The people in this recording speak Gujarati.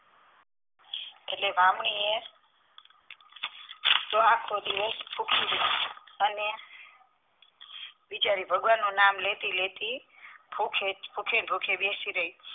એટલે બ્રાહ્મણીએ તો આખો દિવસ ભુખી રહી અને બિચારી ભગવાનનું નામ લેતી લેતી ભૂખે ભૂખે ભૂખે બેસી રઈ